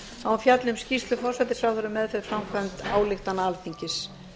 að hún fjalli um skýrslu forsætisráðherra um meðferð framkvæmda ályktunar alþingis